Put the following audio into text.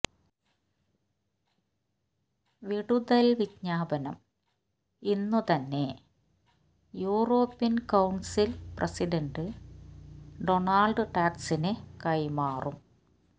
വിടുതൽ വിജ്ഞാപനം ഇന്നുതന്നെ യൂറോപ്യൻ കൌൺസിൽ പ്രസിഡന്റ് ഡൊണാൾഡ് ടസ്കിന് കൈമാറും